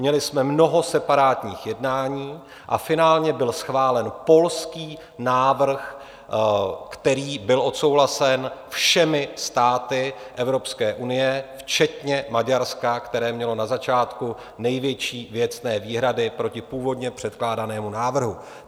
Měli jsme mnoho separátních jednání a finálně byl schválen polský návrh, který byl odsouhlasen všemi státy Evropské unie včetně Maďarska, které mělo na začátku největší věcné výhrady proti původně předkládanému návrhu.